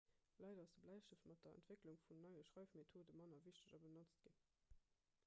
leider ass de bläistëft mat der entwécklung vun neie schreifmethode manner wichteg a benotzt ginn